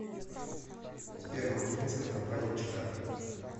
сбер материнская компания чк